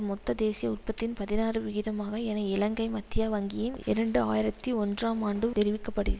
மொத்த தேசிய உற்பத்தியின் பதினாறு விகிதமாக என இலங்கை மத்திய வங்கியின் இரண்டு ஆயிரத்தி ஒன்றாம் ஆண்டு தெரியப்படு